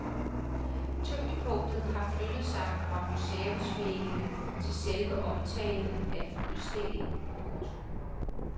Tyngdepunktet har flyttet sig fra museumsvæggene til selve omtalen af udstillingen. punktum